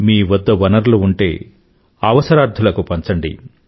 మీ వద్ద వనరులు ఉంటే అవసరార్థులకు పంచండి